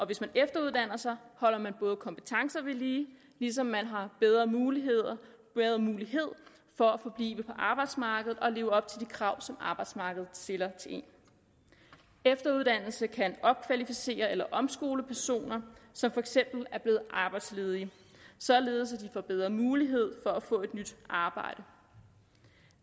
hvis man efteruddanner sig holder man kompetence ved lige ligesom man har bedre mulighed for at forblive på arbejdsmarkedet og leve op til de krav som arbejdsmarkedet stiller til en efteruddannelse kan opkvalificere eller omskole personer som for eksempel er blevet arbejdsledige således at får bedre mulighed for at få et nyt arbejde